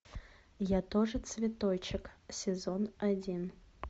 я тоже цветочек сезон один